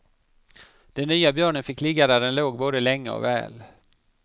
Den nya björnen fick ligga där den låg både länge och väl.